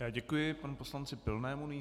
Já děkuji panu poslanci Pilnému.